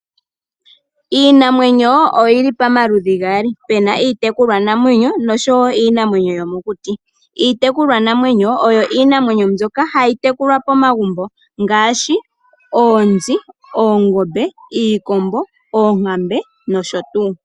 Iinamwenyo oyi li pamaludhi gaali. Opu na iitekulwanamwenyo, noshowo iinamwenyo yomokuti. Iitekulwanamwenyo oyo iinamwenyo mbyoka hayi tekulwa momagumbo ngaashi oonzi, oongombe, iikombo, oonkambe, nosho tuu.